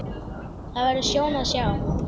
Það verður sjón að sjá.